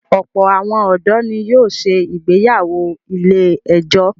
Ọ̀pọ̀ àwọn ọ̀dọ́ ni yóò se ìgbéyàwó ilé-ẹjọ̀.